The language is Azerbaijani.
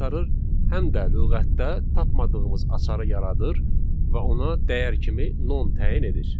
həm də lüğətdə tapmadığımız açarı yaradır və ona dəyər kimi non təyin edir.